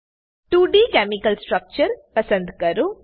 2ડી chemical structure પસંદ કરો